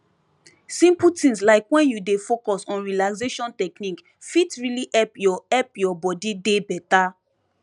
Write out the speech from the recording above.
simple things like wen you dey focus on relaxation technique fit really help your help your body dey beta